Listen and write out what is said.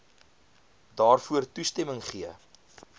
daarvoor toestemming gegee